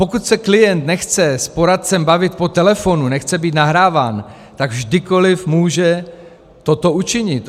Pokud se klient nechce s poradcem bavit po telefonu, nechce být nahráván, tak kdykoliv může toto učinit.